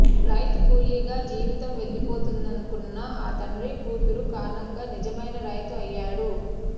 రైతు కూలీగా జీవితం వెళ్లిపోతుందనుకున్న ఆ తండ్రి కూతురు కారణంగా నిజమైన రైతు అయ్యాడు